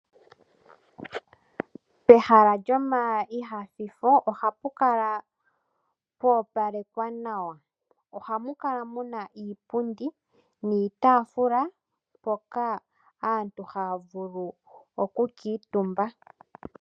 Pehala lyomainyanyudho ohapu kala poopalekwa nawa. Ohamu kala muna iipundi niitafuula mpoka aantu haya vulu oku kuutumba.